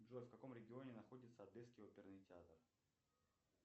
джой в каком регионе находится одесский оперный театр